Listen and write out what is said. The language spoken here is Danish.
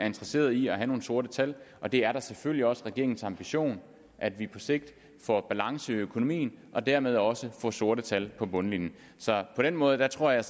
interesseret i at have nogle sorte tal og det er da selvfølgelig også regeringens ambition at vi på sigt får balance i økonomien og dermed også får sorte tal på bundlinjen så på den måde tror jeg